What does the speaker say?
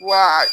Wa